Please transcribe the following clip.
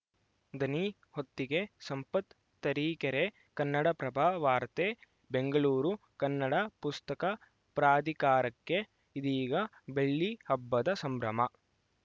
ದನಿ ಹೊತ್ತಿಗೆ ಸಂಪತ್‌ ತರೀಕೆರೆ ಕನ್ನಡಪ್ರಭ ವಾರ್ತೆ ಬೆಂಗಳೂರು ಕನ್ನಡ ಪುಸ್ತಕ ಪ್ರಾಧಿಕಾರಕ್ಕೆ ಇದೀಗ ಬೆಳ್ಳಿ ಹಬ್ಬದ ಸಂಭ್ರಮ